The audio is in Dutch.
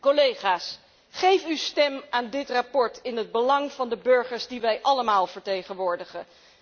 Collega's, geef uw stem aan dit verslag in het belang van de burgers die wij allemaal vertegenwoordigen.